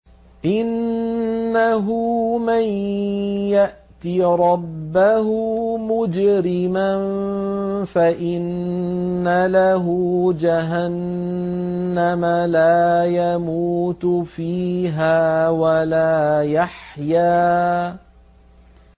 إِنَّهُ مَن يَأْتِ رَبَّهُ مُجْرِمًا فَإِنَّ لَهُ جَهَنَّمَ لَا يَمُوتُ فِيهَا وَلَا يَحْيَىٰ